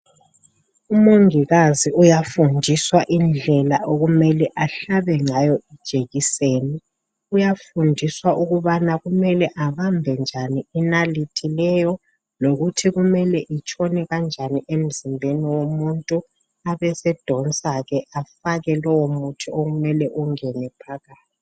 Umongikazi uyafundiswa indlela okumele ahlabe ngayo ijekiseni . Uyafundiswa ukubana kumele abambe njani inalithi leyo lokuthi kumele itshone kanjani emzimbeni womuntu abesedonsa ke afake lowo muthi okumele ungene phakathi.